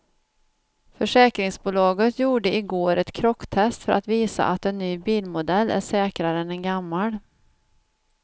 Försäkringsbolaget gjorde i går ett krocktest för att visa att en ny bilmodell är säkrare än en gammal.